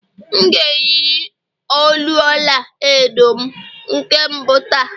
M ga-eyiri olu ọla edo m nke mbụ taa